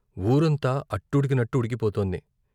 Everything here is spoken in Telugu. వూరంతా అట్టుడికినట్టుడికి పోతోంది.